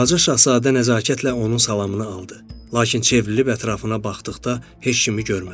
Balaca şahzadə nəzakətlə onun salamını aldı, lakin çevrilib ətrafına baxdıqda heç kimi görmədi.